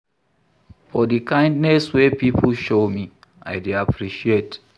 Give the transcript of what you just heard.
For di kindness wey pipo show me, I dey appreciate.